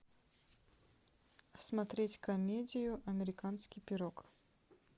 смотреть комедию американский пирог